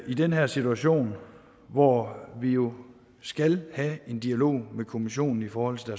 i den her situation hvor vi jo skal have en dialog med kommissionen i forhold til